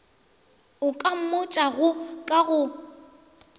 a ka mmotšago ka go